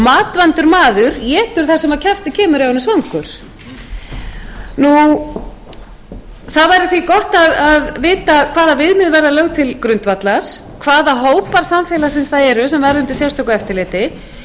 matvandur maður étur það sem að kjafti kemur ef hann er svangur það væri því gott að vita hvaða viðmið verða lögð til grundvallar hvaða hópar samfélagsins það eru sem verða undir sérstöku eftirliti í